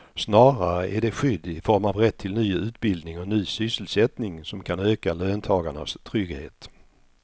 Snarare är det skydd i form av rätt till ny utbildning och ny sysselsättning som kan öka löntagarnas trygghet.